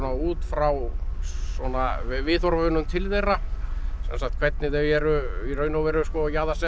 út frá svona viðhorfunum til þeirra sem sagt hvernig þau eru í raun og veru